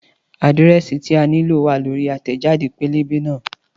Àdírẹ́sì tí a nílò wá lórí àtẹ̀jáde pẹ́lẹ́bẹ́ náà